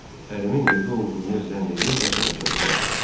Ərimin evdə olduğunu zənn edib qaça-qaça bura gəldim.